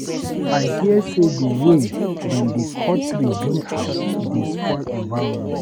I hear sey di wey dem dey cut tree build house dey spoil environment.